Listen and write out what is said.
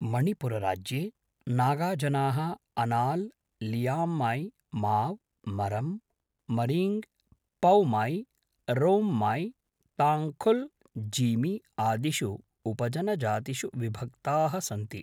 मणिपुरराज्ये नागाजनाः अनाल्, लियांमै, माव्, मरम्, मरीङ्ग्, पौमै, रोंमै, ताङ्खुल्, जीमी आदिषु उपजनजातिषु विभक्ताः सन्ति।